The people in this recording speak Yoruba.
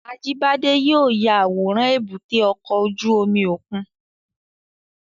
Ajibade yóò ya aworan èbúté ọkọ ojú omi okun